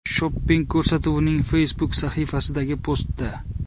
Shopping” ko‘rsatuvining Facebook sahifasidagi postda.